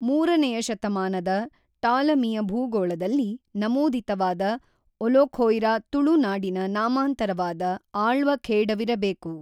ಮೂರನೆಯ ಶತಮಾನದ ಟಾಲಮಿಯ ಭೂಗೋಳದಲ್ಲಿ ನಮೂದಿತವಾದ ಒಲೊಖೊಯ್ರಾ ತುಳು ನಾಡಿನ ನಾಮಾಂತರವಾದ ಆಳ್ವಖೇಡವಿರಬೇಕು.